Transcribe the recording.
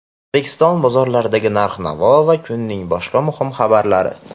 O‘zbekiston bozorlaridagi narx-navo va kunning boshqa muhim xabarlari.